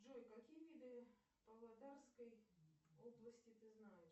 джой какие виды павлодарской области ты знаешь